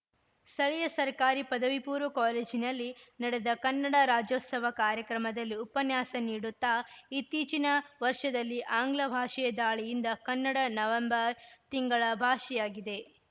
ಸ್ಥಳೀಯ ಸರ್ಕಾರಿ ಪದವಿಪೂರ್ವ ಕಾಲೇಜ್ ನಲ್ಲಿ ನಡೆದ ಕನ್ನಡ ರಾಜ್ಯೋತ್ಸವ ಕಾರ್ಯಕ್ರಮದಲ್ಲಿ ಉಪನ್ಯಾಸ ನೀಡುತ್ತಾ ಇತ್ತೀಚಿನ ವರ್ಷದಲ್ಲಿ ಆಂಗ್ಲ ಭಾಷೆಯ ದಾಳಿಯಿಂದ ಕನ್ನಡ ನವೆಂಬರ್‌ ತಿಂಗಳ ಭಾಷೆಯಾಗಿದೆ